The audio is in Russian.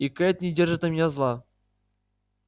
и кэйд не держит на меня зла